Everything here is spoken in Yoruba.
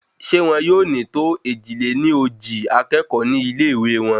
ṣé wọn yóò ní tó èjì-lé-ní-ojì akékòó ní ilé ìwé wọn?